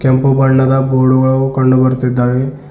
ಕೆಂಪು ಬಣ್ಣದ ಬೋರ್ಡ್ ಕಂಡು ಬರ್ತಿದ್ದಾವೇ.